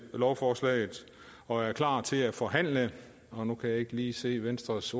lovforslaget og er klar til at forhandle og nu kan jeg ikke lige se venstres